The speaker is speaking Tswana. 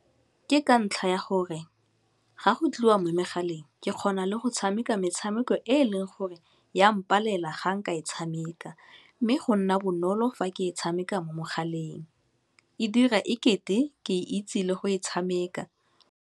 Ke ka ntlha ya gore ga go tliwa mo megaleng ke kgona le go tshameka metshameko e e leng gore ya mpalela ga nka e tshameka, mme go nna bonolo fa ke e tshameka mo mogaleng, e dira ekete ke e itse le go e tshameka.